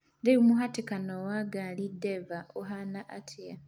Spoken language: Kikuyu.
Rĩu mũhatĩkano wa ngari Denver ũhaana atĩa